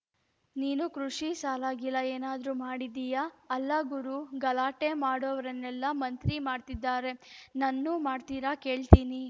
ನೀನೂ ಕೃಷಿ ಸಾಲಗೀಲ ಏನಾದ್ರೂ ಮಾಡಿದೀಯಾ ಅಲ್ಲಾ ಗುರೂ ಗಲಾಟೆ ಮಾಡೋವ್ರನ್ನೆಲ್ಲ ಮಂತ್ರಿ ಮಾಡ್ತಿದಾರೆ ನನ್ನೂ ಮಾಡ್ತಾರಾ ಕೇಳ್ತೀನಿ